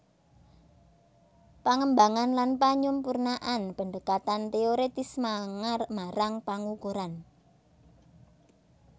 Pangembangan lan panyampurnan pendekatan téoretis marang pangukuran